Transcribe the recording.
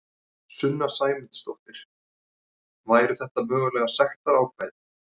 Sunna Sæmundsdóttir: Væru þetta mögulega sektarákvæði?